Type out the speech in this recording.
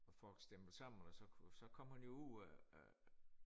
Og folk stimlet sammen og så kunne så kom hun jo ud af af